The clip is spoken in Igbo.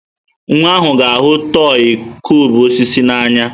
Nwa ahụ ga-ahụ tọị kụubụ osisi n'anya.